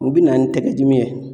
U bi na ni tɛgɛ dimi yɛ